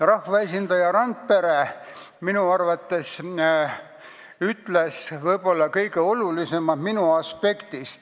Rahvaesindaja Randpere ütles välja minu arvates võib-olla kõige olulisema aspekti.